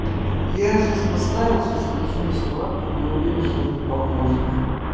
я сейчас поставил сейчас захожу на сервак но я уверен что это не поможет